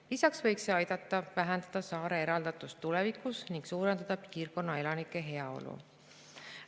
Lisaks võiks see aidata vähendada saare eraldatust tulevikus ning suurendada piirkonna elanike heaolu.